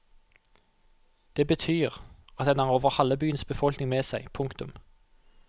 Det betyr at den har over halve byens befolkning med seg. punktum